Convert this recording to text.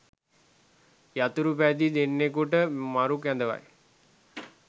යතුරු පැදිය දෙන්නකුට මරු කැඳවයි